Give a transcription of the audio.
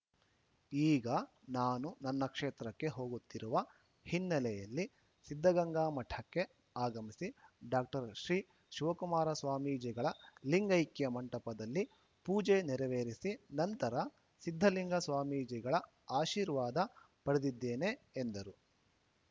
ಈಗ ನಾನು ನನ್ನ ಕ್ಷೇತ್ರಕ್ಕೆ ಹೋಗುತ್ತಿರುವ ಹಿನ್ನೆಲೆಯಲ್ಲಿ ಸಿದ್ದಗಂಗಾ ಮಠಕ್ಕೆ ಆಗಮಿಸಿ ಡಾಕ್ಟರ್ ಶ್ರೀ ಶಿವಕುಮಾರ ಸ್ವಾಮೀಜಿಗಳ ಲಿಂಗೈಕ್ಯ ಮಂಟಪದಲ್ಲಿ ಪೂಜೆ ನೆರವೇರಿಸಿ ನಂತರ ಸಿದ್ದಲಿಂಗ ಸ್ವಾಮೀಜಿಗಳ ಆಶೀರ್ವಾದ ಪಡೆದಿದ್ದೇನೆ ಎಂದರು